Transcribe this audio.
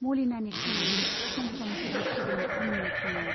मलिनानि खानाइया सम सम हुब्लिदफैदों आंनि मोखाङाव।